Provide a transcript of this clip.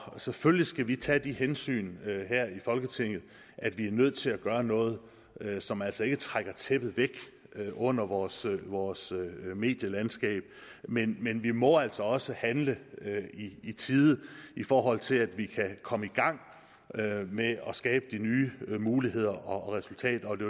selvfølgelig skal vi tage de hensyn her i folketinget at vi er nødt til at gøre noget som altså ikke trækker tæppet væk under vores vores medielandskab men men vi må altså også handle i tide i forhold til at komme i gang med at skabe de nye muligheder og resultater og det